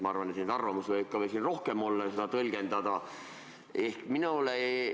Ma arvan, et neid arvamusi, kuidas seda seadust tõlgendada, võib siin ka rohkem olla.